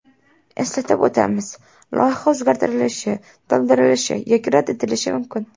Eslatib o‘tamiz, loyiha o‘zgartirilishi, to‘ldirilishi yoki rad etilishi mumkin.